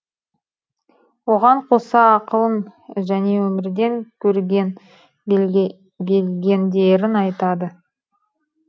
оған қоса ақылын және өмірден көрген білгендерін айтады